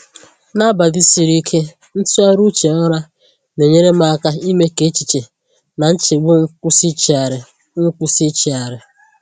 N’abalị siri ike, ntụgharị uche ụra na-enyere m aka ime ka echiche na nchegbu m kwụsị ịchịgharị. m kwụsị ịchịgharị.